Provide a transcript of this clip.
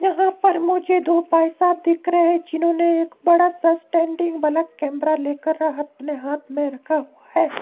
यहां पर मुझे दो भाई साहब दिख रहे हैं जिन्होंने एक बड़ा स्टैंडिंग वाला कैमरा लेकर अपने हाथ में रखा हुआ है।